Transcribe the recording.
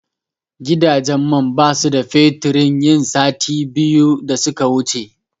Gidajen man basu da fetur yin sati biyu da suka wuce.